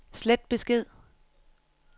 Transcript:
slet besked